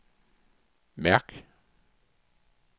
mærk